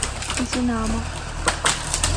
динамо